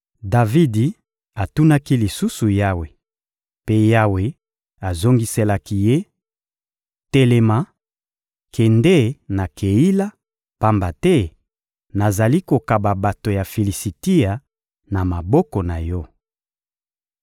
Davidi atunaki lisusu Yawe, mpe Yawe azongiselaki ye: — Telema, kende na Keila, pamba te nazali kokaba bato ya Filisitia na maboko na yo.